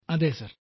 അതെ സർ